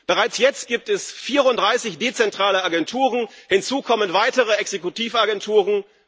Bereits jetzt gibt es 34 dezentrale Agenturen, hinzu kommen weitere Exekutivagenturen.